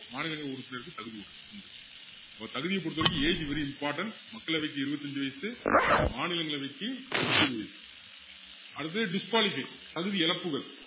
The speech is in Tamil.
மாநிலங்களவை உறுப்பினருக்கு தகுதி உண்~உண்டு அப்போ தகுதிய பொறுத்த வரைக்கும் age very important மக்களவைக்கு இருபத்து அஞ்சு வயசு மாநிலங்களவைக்கு முப்பது வயசு அடுத்தது disqualified தகுதி இழப்புகள்